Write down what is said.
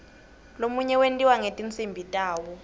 lomunye wentiwa ngetinsimbi tawo